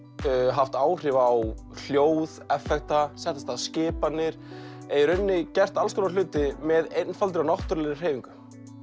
haft áhrif á hljóð sett af stað skipanir eða í rauninni gert alls konar hluti með einfaldri og náttúrulegri hreyfingu